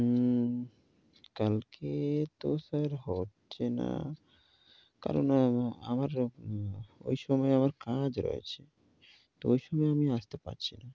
উ কালকে তো sir হচ্ছে না, কারণ আমার ঐ সময়ে আমার কাজ রয়েছে। তো ঐ সময়ে আমি আসতে পারছি না।